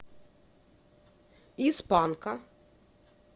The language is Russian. из панка